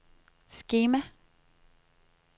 skema